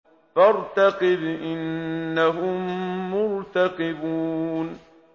فَارْتَقِبْ إِنَّهُم مُّرْتَقِبُونَ